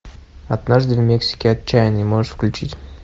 однажды в мексике отчаянный можешь включить